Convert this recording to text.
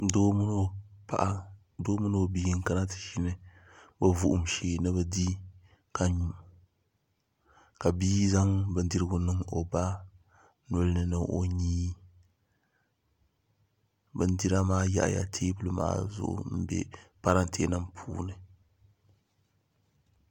Doo mini o bia n kana ti ʒini o vuhum shee ni bi di ka nyu ka bia zaŋ bindirigu niŋ o ba nolini ni o nyee bindira maa yaɣaya teebuli maa zuɣu n bɛ parantɛ nim puuni